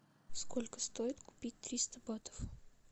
сколько стоит купить триста батов